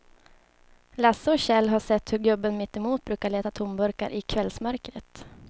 Lasse och Kjell har sett hur gubben mittemot brukar leta tomburkar i kvällsmörkret.